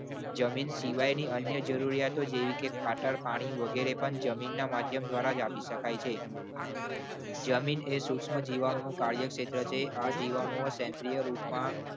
જમીન સિવાયની અન્ય જરૂરિયાતો જેવી કે ખાતર પાણી વગેરે પણ જમીનના માધ્યમ દ્વારા જ આપી શકાય છે જમીન એ સૂક્ષ્મ જીવાણુઓનું કાર્ય ક્ષેત્ર છે. આ જીવાણુઓ સેન્દ્રીય રૂપમાં